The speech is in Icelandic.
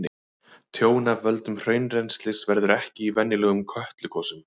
Tjón af völdum hraunrennslis verður ekki í venjulegum Kötlugosum.